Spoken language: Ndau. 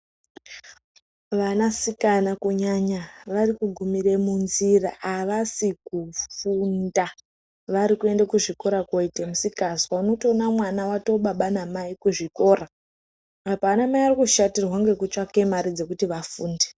Vanasikana kunyanya vari kugumire munzira, havasi kufunda. Vari kuende kuzvikora kunoite misikazwa. Unotoone mwana atove baba namai kuzvikora apa vanamai vari kushatirwe ngekutsvake mari dzokuti ana afunde.